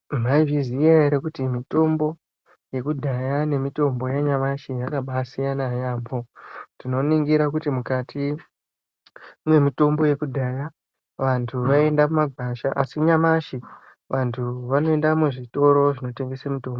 Maizviziya here kuti mitombo yekudhaya nemitombo yanyamashi yakabaasiyana yaambo. Tinoningira kuti mukati memitombo yekudhaya, vantu vaienda mumagwasha asi nyamashi vantu vanoende muzvitoro zvinotengese mutombo.